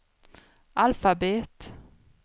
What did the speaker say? alfabet